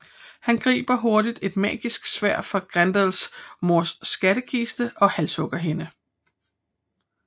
Han griber hurtigt et magisk sværd fra Grendels mors skattekiste og halshugger hende